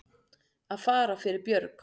Að fara fyrir björg